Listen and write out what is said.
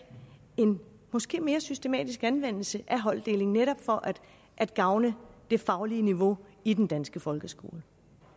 en måske mere systematisk anvendelse af holddeling netop for at gavne det faglige niveau i den danske folkeskole